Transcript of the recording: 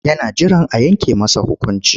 Yana jiran a yanke masa hukunci.